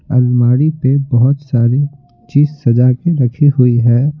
अलमारी पे बहुत सारी चीज सजा के रखी हुई है।